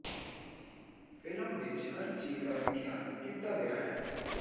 film ਵਿੱਚ ਹਰ ਚੀਜ਼ ਦਾ ਵਿਖਿਆਨ ਕੀਤਾ ਗਿਆ ਹੈ